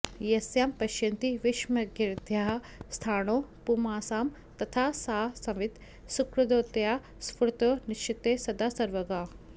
यस्यां पश्यति विश्वमज्ञहृदयाः स्थाणौ पुमांसं यथा सा संवित् सुकृतोदया स्फुरतु नश्चित्ते सदा सर्वगा